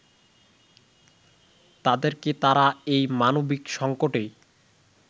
তাদেরকে তারা এই মানবিক সঙ্কটে